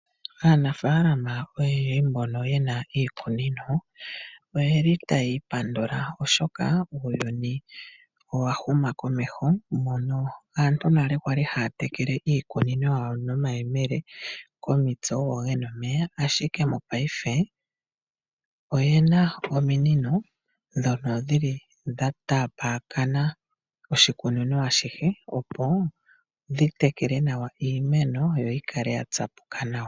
Aanafalama oyo mbono ye na iikunino, oye li tayii pandula oshoka uuyuni owa huma komeho, mono aantu nale kwali haa tekele iikunino yawo nomayemele komitse ogo ge na omeya, ashike mo paife oye na ominino ndhono dhili dha taapakana oshikunino ashihe opo dhi tekele nawa iimeno yo yi kale ya tsapuka nawa.